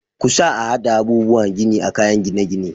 Kusa a hada abubuwa gini a kayan gine-gine.